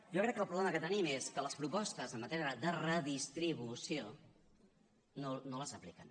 jo crec que el problema que tenim és que les propostes en matèria de redistribució no les apliquen